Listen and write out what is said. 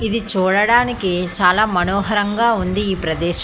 ఇది చూడడానికి చాలా మనోహరంగా ఉంది ఈ ప్రదేశం.